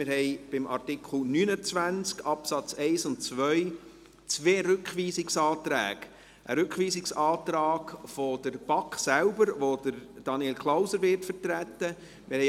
Wir haben zu Artikel 29 Absatz 1 und 2 zwei Rückweisungsanträge, einen Rückweisungsantrag der BaK selbst, den Daniel Klauser vertreten wird.